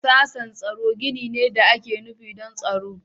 Sashen tsaro gini ne da ake nufi don tsaro.